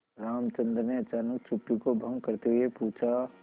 रामचंद्र ने अचानक चुप्पी को भंग करते हुए पूछा